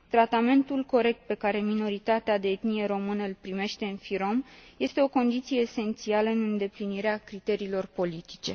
Tratamentul corect pe care minoritatea de etnie română îl primește în FYROM este o condiție esențială în îndeplinirea criteriilor politice.